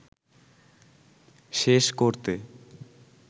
শেষ করতে